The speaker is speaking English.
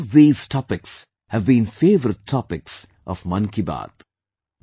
Both these topics have been favorite topics of 'Mann Ki Baat'